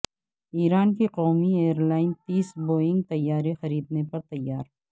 ایران کی قومی airline تیس بوئنگ طیارے خریدنے پر تیار